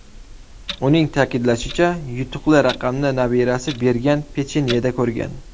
Uning ta’kidlashicha, yutuqli raqamni nabirasi bergan pechenyeda ko‘rgan.